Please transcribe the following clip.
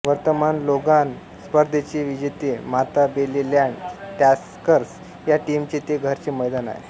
वर्तमान लोगान स्पर्धेचे विजेते माताबेलेलॅंड टस्कर्स या टीमचे ते घरचे मैदान आहे